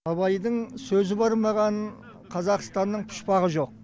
абайдың сөзі бармаған қазақстанның пұшпағы жоқ